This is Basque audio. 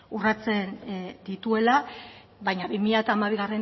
urratzen dituela baina bi mila hamabigarrena